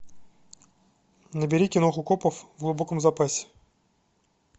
набери киноху копов в глубоком запасе